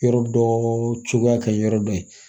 Yɔrɔ dɔ cogoya ka ɲi yɔrɔ dɔ ye